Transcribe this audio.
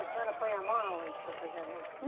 A senhora põe a mão aonde para fazer a reza?